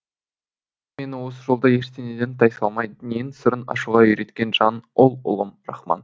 мені осы жолда ештеңеден тайсалмай дүниенің сырын ашуға үйреткен жан ол ұлым рахман